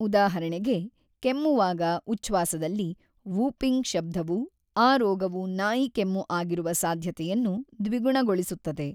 ಉದಾಹರಣೆಗೆ, ಕೆಮ್ಮುವಾಗ ಉಚ್ಛ್ವಾಸದಲ್ಲಿ "ವೂಪಿಂಗ್" ಶಬ್ದವು ಆ ರೋಗವು ನಾಯಿಕೆಮ್ಮು ಆಗಿರುವ ಸಾಧ್ಯತೆಯನ್ನು ದ್ವಿಗುಣಗೊಳಿಸುತ್ತದೆ.